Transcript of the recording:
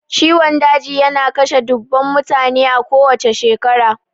Ciwon daji yana kashe dubbunnan mutane a kowacce shekara.